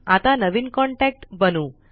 आता नवीन कॉन्टॅक्ट बनवु